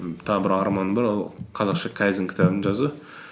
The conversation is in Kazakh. тағы бір арманым бар ол қазақша кайдзен кітабын жазу